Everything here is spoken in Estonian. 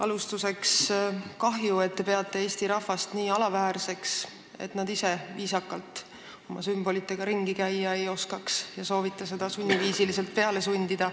Alustuseks: kahju, et te peate Eesti rahvast nii alaväärseks, et nad ise oma sümbolitega viisakalt ringi käia ei oska, soovides seda neile peale sundida.